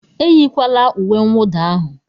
Eyikwala uwe nwụda ahụ!